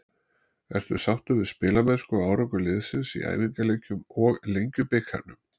Ertu sáttur við spilamennsku og árangur liðsins í æfingaleikjum og Lengjubikarnum?